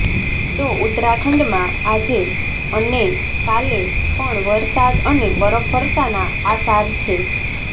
તો ઉત્તરાખંડમાં આજે અન્ે કાલે પણવરસાદ અને બરફવર્ષાના આસાર છે